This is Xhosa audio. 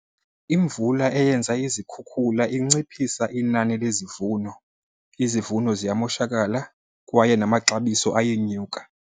Imvula eyenza izikhukhula inciphisa inani lezivuno, izivuno ziyamoshakala kwaye namaxabiso ayenyuka.